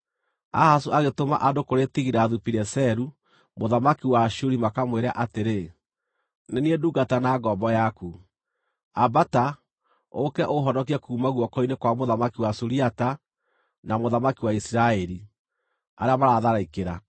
Ahazu agĩtũma andũ kũrĩ Tigilathu-Pileseru mũthamaki wa Ashuri makamwĩre atĩrĩ, “Nĩ niĩ ndungata na ngombo yaku. Ambata, ũũke ũũhonokie kuuma guoko-inĩ kwa mũthamaki wa Suriata na mũthamaki wa Isiraeli, arĩa maratharĩkĩra.”